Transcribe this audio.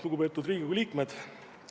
Lugupeetud Riigikogu liikmed!